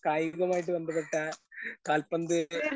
കായികമായിട്ട് ബന്ധപ്പെട്ട കാൽപ്പന്തുകളി.